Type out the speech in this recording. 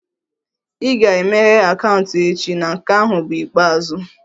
Ị ga-emeghe akaụntụ echi na nke ahụ bụ ikpeazụ!